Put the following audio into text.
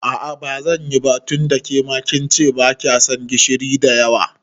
A'a bazanyi ba tunda kince kema bakyason gishiri da yawa.